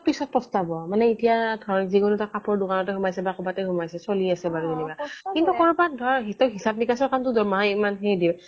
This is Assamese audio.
পিছত প্ৰস্তাৱ মানে এতিয়া যিকোনো এটা কাপোৰৰ দোকানতে সোমাইছে বা কবাতে সোমাইছে চলি আছে বাৰু যেনিবা কিন্তু সৰু সুৰা ধৰ তই হিচাপ নিকাছৰ কামটো দৰমহা ইমান খিনি দিয়ে